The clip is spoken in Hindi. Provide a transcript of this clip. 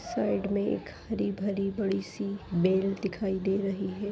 साइड में एक हरी-भरी बड़ी सी बेल दिखाई दे रही है।